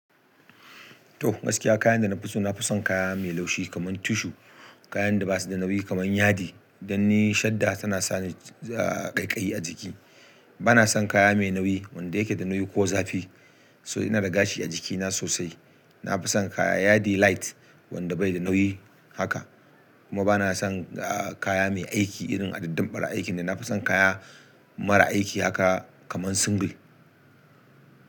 To gaskiya kayan da na fi so, na fi son kaya mai laushi kamar tishu. Kayan da ba su da nauyi kamar yadi dan ni shadda tana sa ni ƙaiƙayi a jiki. Bana son kaya mai nauyi wanda yake da nauyi ko zafi. So ina da gashi a jikina sosai. Na fi son kaya yadi light wanda bai da nauyi haka. Kuma bana son kaya mai aiki irin adadin ɓara aikin. Na fi son kaya mara aiki haka kaman single.